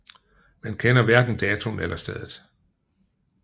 Man kender hverken datoen eller stedet